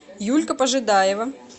юлька пожидаева